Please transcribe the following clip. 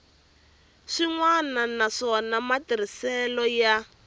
swin wana naswona matirhiselo ya